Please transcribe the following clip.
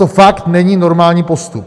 To fakt není normální postup.